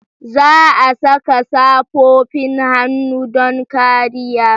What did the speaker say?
Za a saka safofin hannu don kariya.